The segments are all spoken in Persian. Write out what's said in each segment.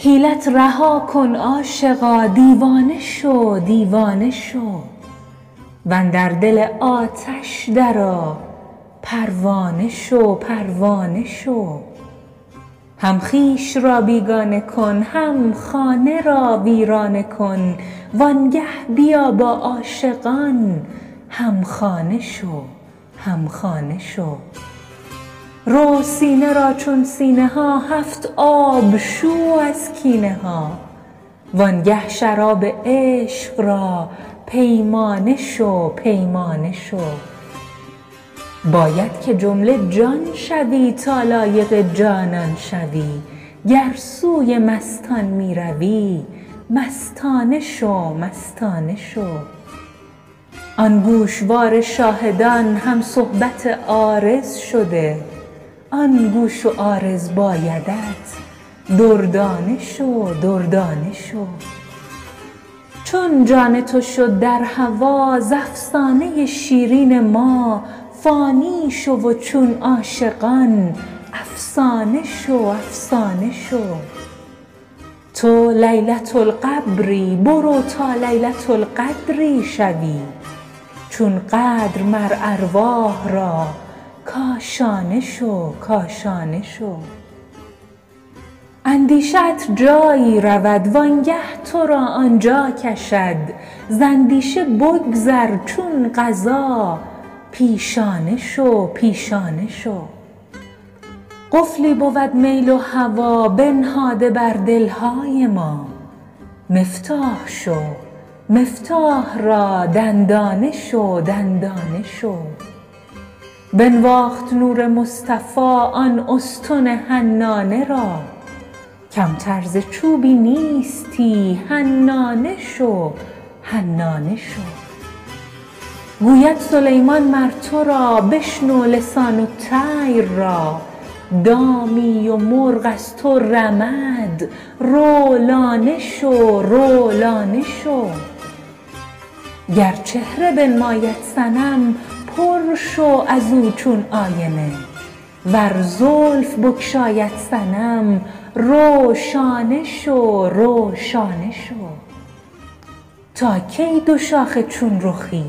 حیلت رها کن عاشقا دیوانه شو دیوانه شو و اندر دل آتش درآ پروانه شو پروانه شو هم خویش را بیگانه کن هم خانه را ویرانه کن وآنگه بیا با عاشقان هم خانه شو هم خانه شو رو سینه را چون سینه ها هفت آب شو از کینه ها وآنگه شراب عشق را پیمانه شو پیمانه شو باید که جمله جان شوی تا لایق جانان شوی گر سوی مستان می روی مستانه شو مستانه شو آن گوشوار شاهدان هم صحبت عارض شده آن گوش و عارض بایدت دردانه شو دردانه شو چون جان تو شد در هوا ز افسانه ی شیرین ما فانی شو و چون عاشقان افسانه شو افسانه شو تو لیلة القبری برو تا لیلة القدری شوی چون قدر مر ارواح را کاشانه شو کاشانه شو اندیشه ات جایی رود وآنگه تو را آن جا کشد ز اندیشه بگذر چون قضا پیشانه شو پیشانه شو قفلی بود میل و هوا بنهاده بر دل های ما مفتاح شو مفتاح را دندانه شو دندانه شو بنواخت نور مصطفی آن استن حنانه را کمتر ز چوبی نیستی حنانه شو حنانه شو گوید سلیمان مر تو را بشنو لسان الطیر را دامی و مرغ از تو رمد رو لانه شو رو لانه شو گر چهره بنماید صنم پر شو از او چون آینه ور زلف بگشاید صنم رو شانه شو رو شانه شو تا کی دوشاخه چون رخی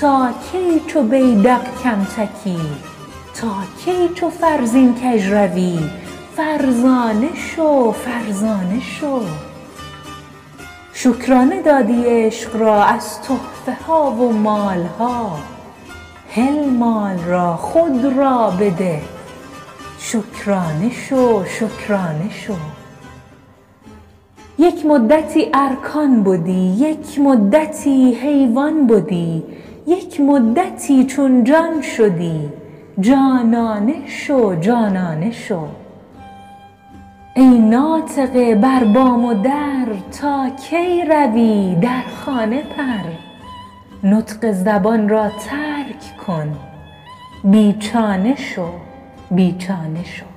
تا کی چو بیذق کم تکی تا کی چو فرزین کژ روی فرزانه شو فرزانه شو شکرانه دادی عشق را از تحفه ها و مال ها هل مال را خود را بده شکرانه شو شکرانه شو یک مدتی ارکان بدی یک مدتی حیوان بدی یک مدتی چون جان شدی جانانه شو جانانه شو ای ناطقه بر بام و در تا کی روی در خانه پر نطق زبان را ترک کن بی چانه شو بی چانه شو